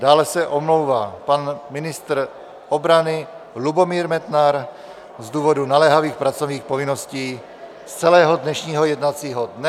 Dále se omlouvá pan ministr obrany Lubomír Metnar z důvodu naléhavých pracovních povinností z celého dnešního jednacího dne.